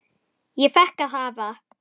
Ég fékk að hafa